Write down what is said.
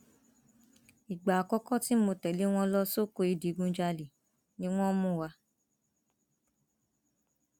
ìgbà àkọkọ tí mo tẹlé wọn lọ sóko ìdigunjalè ni wọn mú wá